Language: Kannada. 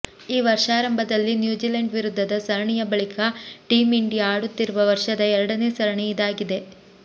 ಈ ವರ್ಷಾರಂಭದಲ್ಲಿ ನ್ಯೂಜಿಲೆಂಡ್ ವಿರುದ್ಧದ ಸರಣಿಯ ಬಳಿಕ ಟೀಂ ಇಂಡಿಯಾ ಆಡುತ್ತಿರುವ ವರ್ಷದ ಎರಡನೇ ಸರಣಿ ಇದಾಗಿದೆ